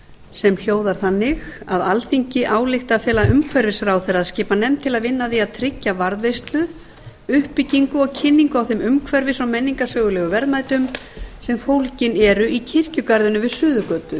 sem hljóðar þannig alþingi ályktar að fela umhverfisráðherra að skipa nefnd til að vinna að því að tryggja varðveislu uppbyggingu og kynningu á þeim umhverfis og menningarsögulegu verðmætum sem eru fólgin í kirkjugarðinum við suðurgötu